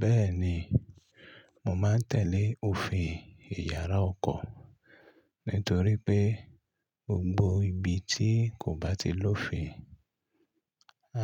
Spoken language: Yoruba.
Bẹ́ẹ̀ni, mò máa ń tẹ́lẹ̀ òfin iyàrá ọkọ̀ nítorí pé gbogbo ibi tí kò bá ti lófin,